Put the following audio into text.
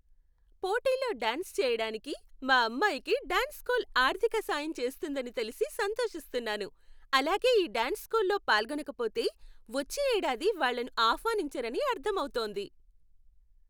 పోటీలో డ్యాన్స్ చేయడానికి, మా అమ్మాయికి డ్యాన్స్ స్కూల్ ఆర్థిక సాయం చేస్తుందని తెలిసి సంతోషిస్తున్నాను, అలాగే ఈ డ్యాన్స్ స్కూల్ పాల్గొనకపోతే, వచ్చే ఏడాది వాళ్ళను ఆహ్వానించరని అర్థమవుతోంది.